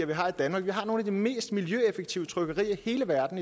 vi har i danmark vi har nogle af de mest miljøeffektive trykkerier i hele verden